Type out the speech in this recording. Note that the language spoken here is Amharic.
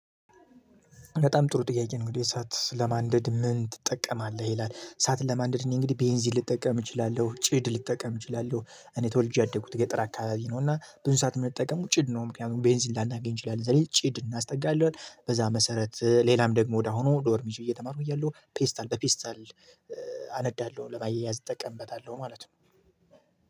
በጣም ጥሩ ጥያቄ እንግዲህ እሳት ለማንደድ ምን ትጠቀማለህ? ይላል እሳት ለማንድር እኔ እንግዲህ ቤንዚ ልጠቀም እችላለሁ ጭድ ልጠቀም እችላለሁ። እኔ ተወልጄ ያደጉት ገጠር አካባቢ ነው እና ብዙ ሰዓት የምንጠቀም ጭድ ነው ምክንያቱም ቤንዚን ላናገኝ እንችላለን እዛ ላይ ጭድ እናስጠጋለን። በዛ መሰረት ሌላም ደግሞ ወደ አሁኑ ዶርም ይዤ እየተማርኩ እያለሁ ፔስታል በፔስታል። አነዳለሁ ለማያያዝ እጠቀምበታለሁ ማለት ነው።